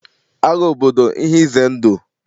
Agha obodo ihe ize ndụ